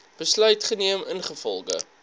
besluit geneem ingevolge